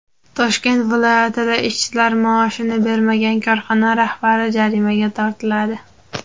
Toshkent viloyatida ishchilar maoshini bermagan korxona rahbari jarimaga tortiladi.